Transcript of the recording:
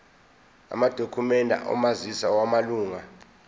amadokhumende omazisi wamalunga